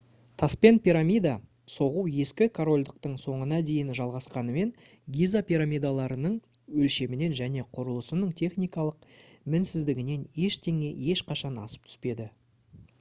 таспен пирамида соғу ескі корольдықтың соңына дейін жалғасқанымен гиза пирамидаларының өлшемінен және құрылысының техникалық мінсіздігінен ештеңе ешқашан асып түспеді